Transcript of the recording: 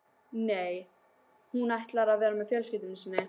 Nei, hún ætlar að vera með fjölskyldu sinni.